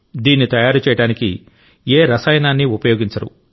దీన్ని తయారు చేయడానికి ఏ రసాయనాన్నీ ఉపయోగించరు